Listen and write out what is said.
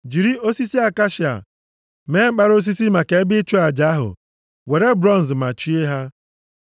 Jiri osisi akashia mee mkpara osisi maka ebe ịchụ aja ahụ, were bronz machie ha.